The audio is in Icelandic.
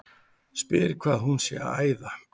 Spyr hvað hún sé að æða.